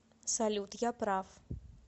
салют я прав